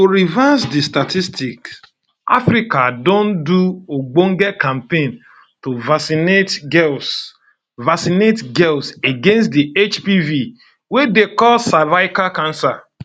to reverse di statistics africa um don do ogbonge campaigns to vaccinate girls vaccinate girls against di hpv wey dey cause cervical cancer